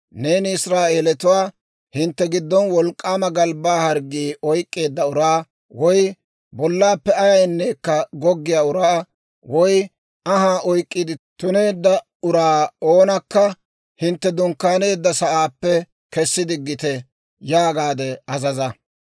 «Neeni Israa'eelatuwaa, ‹Hintte giddon wolk'k'aama galbbaa harggii oyk'k'eedda uraa, woy bollaappe ayayneekka goggiyaa uraa, woy anhaa oyk'k'iide tuneedda uraa oonakka hintte dunkkaaneedda sa'aappe kessi diggite› yaagaade azaza.